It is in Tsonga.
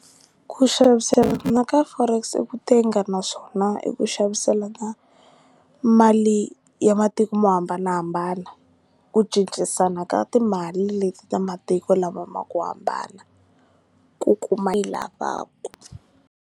Ku xaviselana ka forex i ku tenga naswona i ku xaviselana mali ya matiko mo hambanahambana ku cincisana ka timali leti ta matiko lama ma ku hambana ku kuma a yi lavaku.